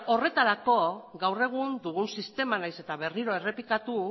horretarako gaur egun dugun sistema nahiz eta berriro errepikatu